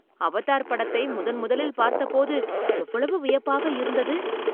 Avatar படத்தை முதன் முதலில் பார்த்தபோது எவ்வளவு வியப்பாக இருந்தது!